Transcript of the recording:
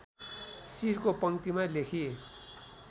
शिरको पंक्तिमा लेखी